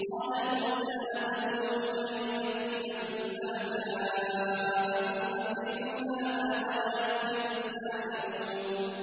قَالَ مُوسَىٰ أَتَقُولُونَ لِلْحَقِّ لَمَّا جَاءَكُمْ ۖ أَسِحْرٌ هَٰذَا وَلَا يُفْلِحُ السَّاحِرُونَ